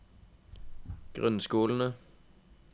grunnskolene